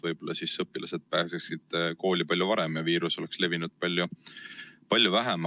Võib-olla oleks siis õpilased pääsenud kooli palju varem ja viirus oleks levinud palju vähem.